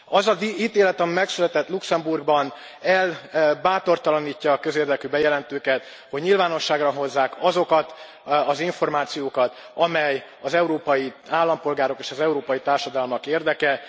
Az az ítélet, ami megszületett Luxembourgban, elbátortalanítja a közérdekű bejelentőket, hogy nyilvánosságra hozzák azokat az információkat, amely az európai állampolgárok és az európai társadalmak érdeke.